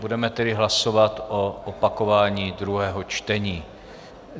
Budeme tedy hlasovat o opakování druhého čtení.